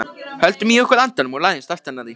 Höldum í okkur andanum og læðumst aftan að því.